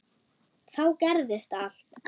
Þá gerðist allt.